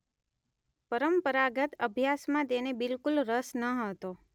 પરંપરાગત અભ્યાસમાં તેને બિલકુલ રસ ન હતો.